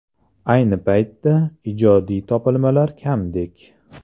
Ayni paytda, ijodiy topilmalar kamdek.